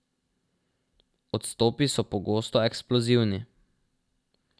Odstopi so pogosto eksplozivni.